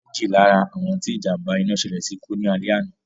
Méjì lá ra àwọn tí ìjàm̀ba iná ṣẹlẹ̀ sí kú ní alẹ́ àná